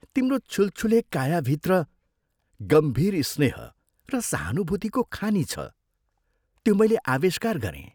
तिम्रो छुलछुले कायाभित्र गम्भीर स्नेह र सहानुभूतिको खानि छ, त्यो मैले आविष्कार गरें।